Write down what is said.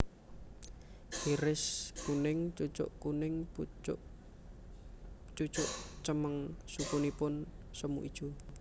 Iris kuning cucuk kuning pucuk cucuk cemeng sukunipun semu ijo